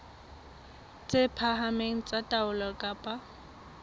tse phahameng tsa taolo ka